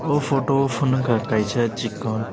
o photo o ponogkha kaisa chikon.